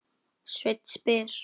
Sveinn spyr: